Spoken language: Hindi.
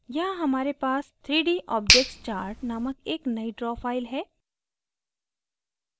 यहाँ हमारे पास 3dobjectschart named एक नयी draw file है